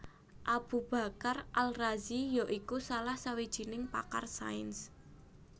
Abu Bakar Al Razi ya iku salah sawijining pakar sains